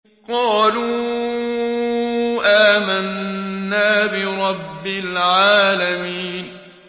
قَالُوا آمَنَّا بِرَبِّ الْعَالَمِينَ